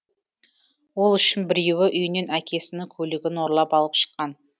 ол үшін біреуі үйінен әкесінің көлігін ұрлап алып шыққан